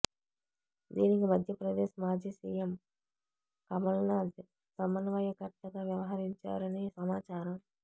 దీనికి మధ్యప్రదేశ్ మాజీ సీఎం కమల్నాథ్ సమన్వయకర్తగా వ్యవహరించారని సమాచారం